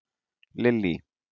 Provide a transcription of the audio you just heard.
Lillý